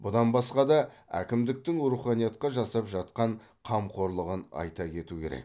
бұдан басқа да әкімдіктің руханиятқа жасап жатқан қамқорлығын айта кету керек